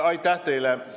Aitäh teile!